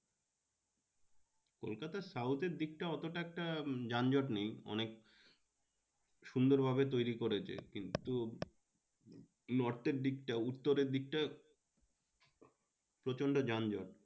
কলকাতার south এর দিকটা এতটা একটা যানজট নেই অনেক সুন্দর ভাবে তৈরী করেছে। কিন্তু north এর দিকটা উত্তরের দিকটা প্রচন্ড যানজট।